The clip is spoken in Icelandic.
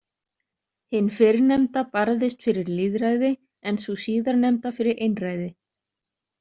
Hin fyrrnefnda barðist fyrir lýðræði en sú síðarnefnda fyrir einræði.